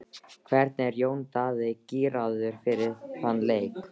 Hvernig er Jón Daði gíraður fyrir þann leik?